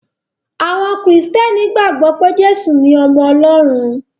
Àwọn Kìrìtẹ̀ẹ́nì gbàgbọ́ pé Jésù ni ọmọ Ọlọ́run.